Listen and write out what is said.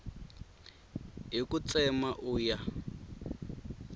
hi ku tsema u ya